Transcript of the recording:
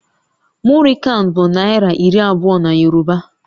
Muri kan bụ naira iri abụọ na Yoruba